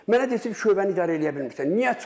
Mənə deyir şöbəni idarə eləyə bilmirsən, niyə çıxım?